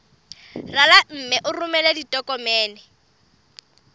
rala mme o romele ditokomene